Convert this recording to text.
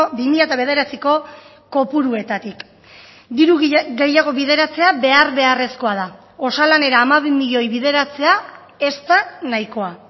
bi mila bederatziko kopuruetatik diru gehiago bideratzea behar beharrezkoa da osalanera hamabi milioi bideratzea ez da nahikoa